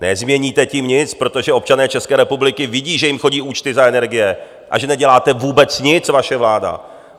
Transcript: Nezměníte tím nic, protože občané České republiky vidí, že jim chodí účty za energie a že neděláte vůbec nic, vaše vláda.